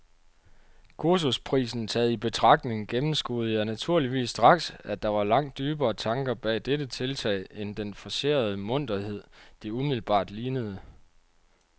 Kursusprisen taget i betragtning gennemskuede jeg naturligvis straks, at der var langt dybere tanker bag dette tiltag end den forcerede munterhed, det umiddelbart lignede.